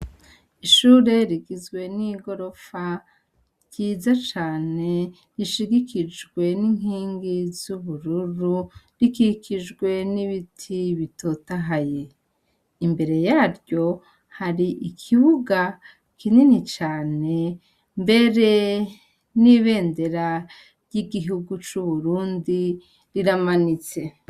Ishure rigizwe n'igorofa ryiza cane rishigikijwe n'inkingi z'ubururu rikikijwe n'ibiti bitotahaye, imbere yaryo hari ikibuga kinini cane mbere n'ibendera ry'igihugu c'Uburundi riramanitse.